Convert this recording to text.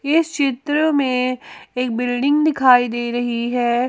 इस चित्र में एक बिल्डिंग दिखाई दे रही है।